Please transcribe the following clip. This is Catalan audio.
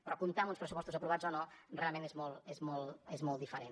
però comptar amb uns pressupostos aprovats o no realment és molt diferent